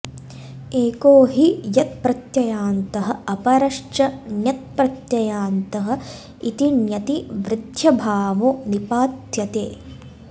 एको हि यत्प्रत्ययान्तः अपरश्च ण्यत्प्रत्ययान्त इति ण्यति वृद्ध्यभावो निपात्यते